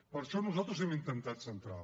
per això nosaltres hem intentat centrar